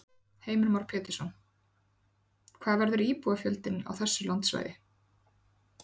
Heimir Már Pétursson: Hvað verður íbúafjöldinn á þessu landsvæði?